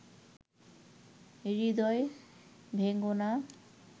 হৃদয় ভেঙো না